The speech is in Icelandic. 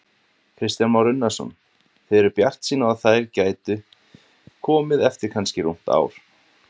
Kristján Már Unnarsson: Þið eruð bjartsýn á að þær gæti komið eftir kannski rúmt ár?